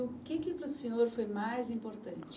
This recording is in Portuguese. O que que para o senhor foi mais importante